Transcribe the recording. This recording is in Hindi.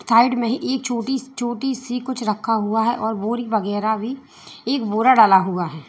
साइड में ही एक छोटी छोटी सी कुछ खड़ा हुआ है और बोरी वगैरह भी एक बोरा डाला हुआ है।